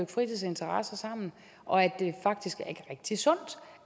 fritidsinteresser sammen og at det faktisk er rigtig sundt